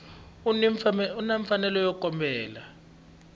u ni mfanelo yo kombela